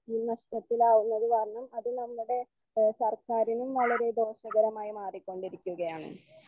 ഈ നഷ്ട്ടത്തിൽ ആവുന്നത് കാരണം അത് നമ്മുടെ എഹ് സർക്കാറിനും വളരെ ദോഷകരമായി മാറികൊണ്ടി രിക്കുകയാണ്.